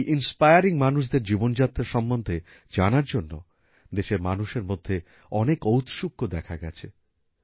এই ইন্সপায়ারিং মানুষদের জীবনযাত্রা সম্বন্ধে জানার জন্য দেশের মানুষের মধ্যে অনেক ঔৎসুক্য দেখা গেছে